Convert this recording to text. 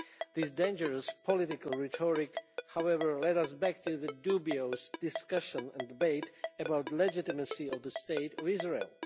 This dangerous political rhetoric, however, leads us back to dubious discussion and debate about the legitimacy of the State of Israel.